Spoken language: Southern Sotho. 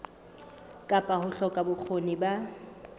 kapa ho hloka bokgoni ba